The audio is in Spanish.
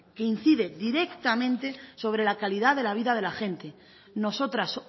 que incide directamente sobre la calidad de la vida de la gente nosotras